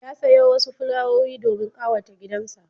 Ya sayo wasu fulawowi domin ƙawata gidansa.